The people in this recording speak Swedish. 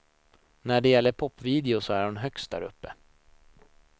När det gäller popvideos så är hon högst däruppe.